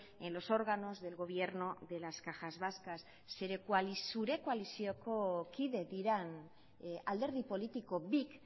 en los órganos del gobierno de las cajas vascas zure koalizioko kide diren alderdi politiko bik